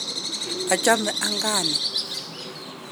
achame ankaa ni